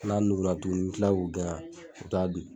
N'a nugura tuguni n bi kila k'u gɛn u bi taa dun.